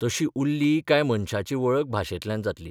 तशी उरली काय मनशाची वळख भाशेंतल्यान जातली.